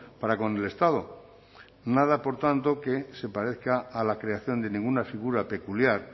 para con el estado nada por tanto que se parezca a la creación de ninguna figura peculiar